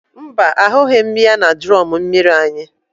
Mba, ahụghị m ya na drọn mmiri anyị.